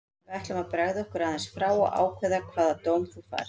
Við ætlum að bregða okkur aðeins frá og ákveða hvaða dóm þú færð.